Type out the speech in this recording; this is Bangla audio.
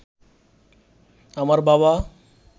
আমার বাবা